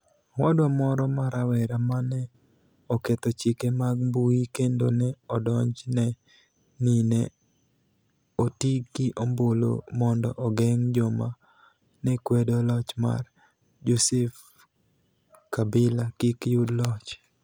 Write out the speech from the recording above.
Owadwa moro ma rawera ma ni e oketho chike mag mbui kenido ni e odonijni e nii ni e oti gi ombulu monido ogenig ' joma ni e kwedo loch mar Joseph Kabila kik yud loch.